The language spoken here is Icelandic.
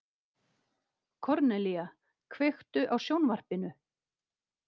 Kornelía, kveiktu á sjónvarpinu.